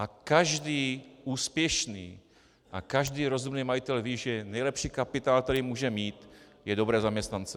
A každý úspěšný a každý rozumný majitel ví, že nejlepší kapitál, který může mít, jsou dobří zaměstnanci.